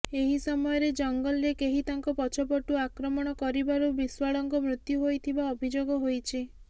ଏହି ସମୟରେ ଜଙ୍ଗଲରେ କେହି ତାଙ୍କ ପଛ ପଟୁ ଆକ୍ରମଣ କରିବାରୁ ବିଶ୍ୱାଳଙ୍କ ମୃତ୍ୟୁ ହୋଇଥିବା ଅଭିଯୋଗ ହୋଇଛି